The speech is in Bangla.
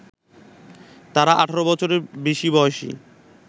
তারা ১৮ বছরের বেশি বয়সী